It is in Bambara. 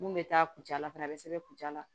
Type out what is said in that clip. Mun bɛ taa kuntaala fana a bɛ sɛbɛn kuntaala